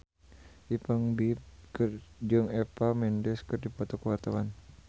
Ipank BIP jeung Eva Mendes keur dipoto ku wartawan